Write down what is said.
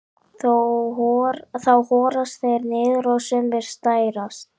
þá horast þeir niður og sumir særast